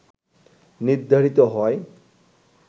নির্ধারিত হয়